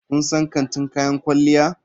Kun san kantin kayan kwalliya?